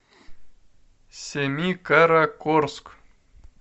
семикаракорск